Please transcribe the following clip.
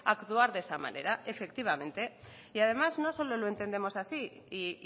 actuar de esa manera efectivamente y además no solo lo entendemos así y